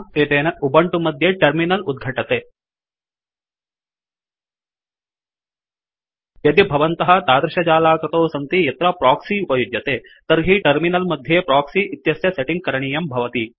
एतेन उबंटु मध्ये टर्मिनल उद्घटते यदि भवन्तः तादृशजालाकृतौ सन्ति यत्र प्रोक्सि उपयुज्यते तर्हि टर्मिनल् मध्ये प्रोक्सि इत्यस्य सेट करणीयं भवति